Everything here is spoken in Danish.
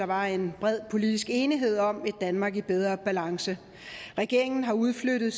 var en bred politisk enighed om et danmark i bedre balance regeringen har udflyttet